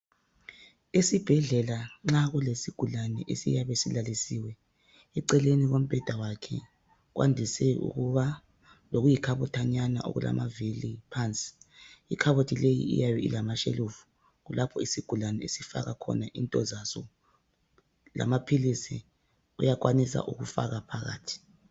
Esibhedlela nxa kulesigulane esiyabe silalisiwe eceleni kombheda wakhe kwandise ukuba lokuyi khabothanyana okulamavili phansi ikhabothi leyi iyabe ilama shelufu lapho isigulane esifaka impahla zaso lamaphilisi uyakwanisa ukufaka phakathi.